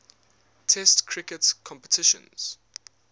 test cricket competitions